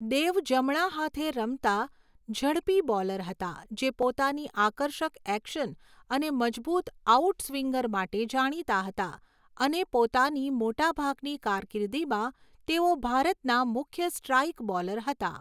દેવ જમણા હાથે રમતા ઝડપી બોલર હતા, જે પોતાની આકર્ષક એક્શન અને મજબૂત આઉટસ્વિંગર માટે જાણીતા હતા અને પોતાની મોટાભાગની કારકિર્દીમાં તેઓ ભારતના મુખ્ય સ્ટ્રાઇક બોલર હતા.